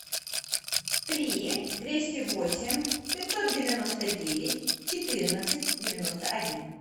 три двести восемь пятьсот девяносто девять четырнадцать девяносто один